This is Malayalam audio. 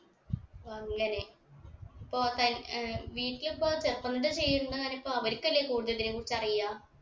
ഓ അങ്ങനെ ഇപ്പൊ കയ് അഹ് വീട്ടിൽ അപ്പൊ separate അ ചെയ്യുന്ന് അല്ലിപ്പൊ അവരിക്കല്ലേ കൂടുതൽ ഇതിനെ കുറിച്ച് അറിയാ